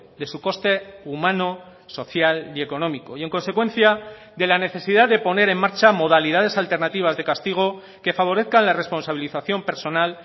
de su coste humano social y económico y en consecuencia de la necesidad de poner en marcha modalidades alternativas de castigo que favorezcan la responsabilización personal